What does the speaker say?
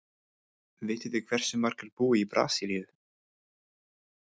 Vitið þið hversu margir búa í Brasilíu?